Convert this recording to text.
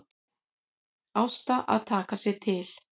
Ásta að taka sig til.